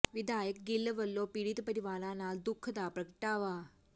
ਵਿਧਾਇਕ ਗਿੱਲ ਵੱਲੋਂ ਪੀੜਿਤ ਪਰਿਵਾਰਾਂ ਨਾਲ ਦੁੱਖ ਦਾ ਪ੍ਰਗਟਾਵਾ